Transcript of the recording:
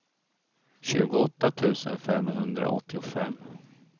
tjugoåtta tusen femhundraåttiofem